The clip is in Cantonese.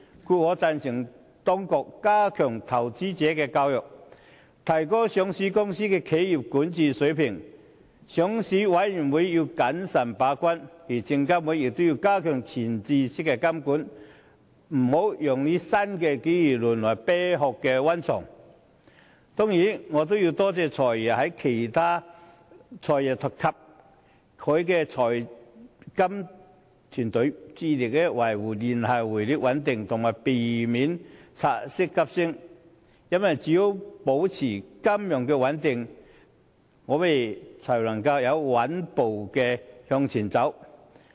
故此，我贊同當局加強投資者教育，提高上市公司的企業管治水平，上市委員會要謹慎把關，而證監會也要加強前置式監管，不要讓新機遇淪為"啤殼"溫床。我也感謝"財爺"及其財金團隊，致力維護聯繫匯率穩定，避免港元拆息急升，因為只有保持金融穩定，我們才能穩步前行。